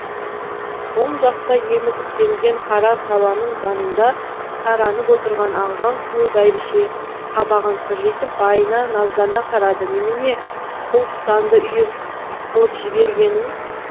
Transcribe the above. оң жақта емізіктенген қара сабаның жанында таранып отырған ағжан сұлу бәйбіше қабағын кіржитіп байына наздана қарады немене құл құтанды үйір қылып жібергенің